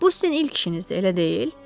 Bu sizin ilk işinizdir, elə deyil?